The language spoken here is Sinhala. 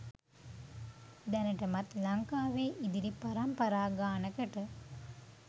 දැනටමත් ලංකාවේ ඉදිරි පරම්පරා ගානකට